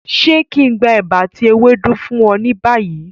Ṣe kí n gbé ẹ̀bà ati ewédú fún ọ ni bayi?